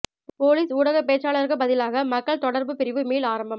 police ஊடகப் பேச்சாளருக்குப் பதிலாக மக்கள் தொடர்புப் பிரிவு மீள் ஆரம்பம்